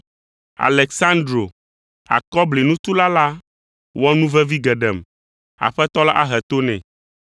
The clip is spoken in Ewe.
Aleksandro, akɔblinutula la wɔ nu vevi geɖem. Aƒetɔ la ahe to nɛ.